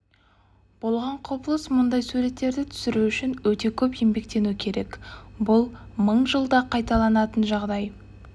болған құбылыс мұндай суреттерді түсіру үшін өте көп еңбектену керек бұл мың жылда қайталанатын жағдай